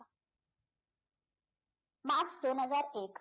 मार्च दोन हझार एक